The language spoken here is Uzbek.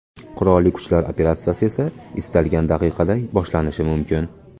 Qurolli kuchlar operatsiyasi esa istalgan daqiqada boshlanishi mumkin.